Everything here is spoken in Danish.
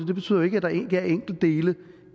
det betyder jo ikke at der ikke er enkeltdele